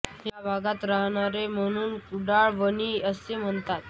या भागात रहाणारे म्हणून कुडाळ वाणी असे म्हणतात